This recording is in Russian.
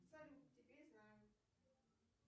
салют теперь знаю